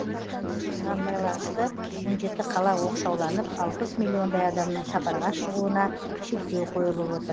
осыған байланысты он жеті қала оқшауланып алпыс миллиондай адамның сапарға шығуына шектеу қойылып отыр